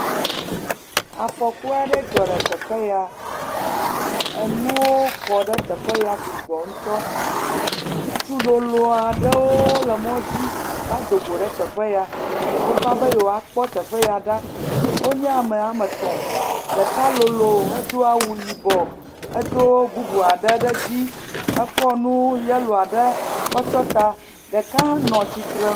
Afɔku aɖe dzɔ le teƒe ya enuwo kɔ ɖe teƒe ya sugbɔ ŋutɔ, ŋutsu lolo awɖewo le mɔ dzi va do go ɖe teƒe ya, wova be yewoakpɔ teƒe ya ɖa wonye ame woame etɔ̃, ɖeka lolo hedo awu yibɔ hedo bubu aɖe ɖe dzi ekɔ nu yellow aɖe kɔ tsyɔ̃ ta ɖeka hã nɔ tsritre nu.